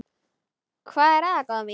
Hvað er það, góða mín?